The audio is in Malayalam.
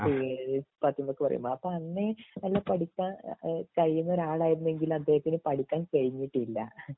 അപ്പൊ ഏഴ് പത്തനൊക്കെ പറയുമ്പൊ അപ്പൊ അന്നേ നല്ല പഠിക്കാൻ കഴിയുന്ന ഒരാളായിരുനെങ്കിലും അദ്ദേഹത്തിന് പഠിക്കാൻ കഴിഞ്ഞിട്ടില്ല